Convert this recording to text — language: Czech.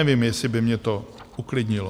Nevím, jestli by mě to uklidnilo.